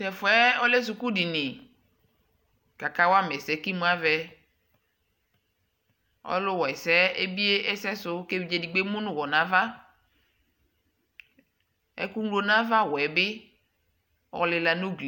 to ɛfuɛ ɔlɛ suku dini ko aka wa ma ɛsɛ ko imu avɛ ɔlo wa ɛsɛ ebie ɛse so ko evidze edigbo emu no uwɔ no ava eko ŋlo no ava wɛ bi ɔlila no uglie